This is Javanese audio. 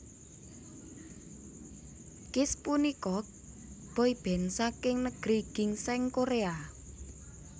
Kiss punika boyband saking Negeri Ginseng Korea